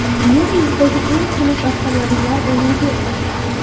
Yer yuzidagi eng xunuk avtomobillar o‘nligi .